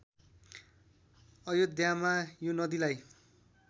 अयोध्यामा यो नदीलाई